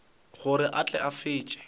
gore a tle a fetše